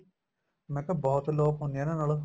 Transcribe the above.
ਮੈਂ ਕਿਹਾ ਬਹੁਤ ਲੋਕ ਹੁੰਦੇ ਏ ਨਾਲ